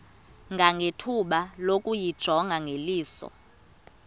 nangethuba lokuyijonga ngeliso